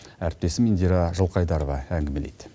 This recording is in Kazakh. әріптесім индира жылқайдарова әңгімелейді